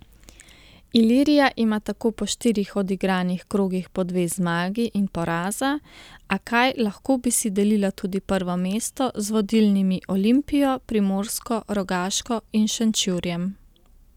Ilirija ima tako po štirih odigranih krogih po dve zmagi in poraza, a kaj lahko bi si delila tudi prvo mesto z vodilnimi Olimpijo, Primorsko, Rogaško in Šenčurjem.